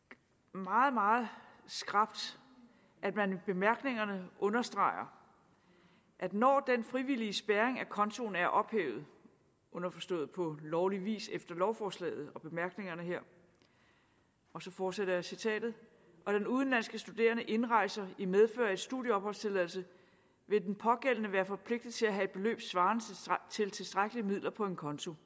meget meget skrapt at man i bemærkningerne understreger at når den frivillige spærring af kontoen er ophævet underforstået på lovlig vis efter lovforslaget og bemærkningerne her og så fortsætter jeg citatet og den udenlandske studerende indrejser i medfør af en studieopholdstilladelse vil den pågældende være forpligtet til at have et beløb svarende til tilstrækkelige midler på en konto